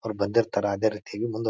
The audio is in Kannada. ಅವ್ರ್ ಬಂದಿರ್ತಾರ ಅದೇ ರೀತಿಯಾಗಿ ಮುಂದ್ --